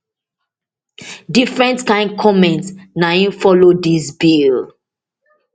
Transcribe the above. different kain comment na im follow dis bill